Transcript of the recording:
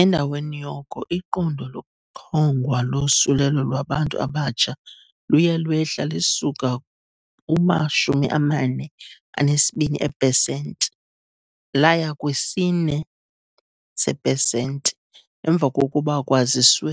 Endaweni yoko iqondo lokuchongwa losulelo lwabantu abatsha luye lwehla lisuka kuma-42 eepesenti laya kwi-4 seepesenti emva kokuba kwaziswe